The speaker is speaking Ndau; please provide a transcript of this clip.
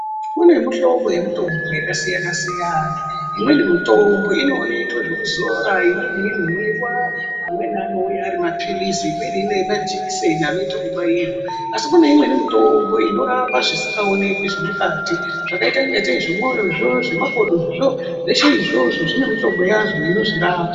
Kune mihlobo yemutombo yakasiyana-siyana. Imweni mutombo inoitwe zvokuzora, imweni inomwiwa. Amweni anouya ari maphilizi, imweni majikiseni anoita ekubairwa. Asi kune imweni mutombo inorapa zvisikaoneki zvemukati zvakaita ingatei zvemwoyozvo, zvemakodozvo. Zveshe izvozvo zvinemutombo yazvo inozvirapa.